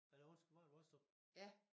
Eller undskyld var det Vostrup?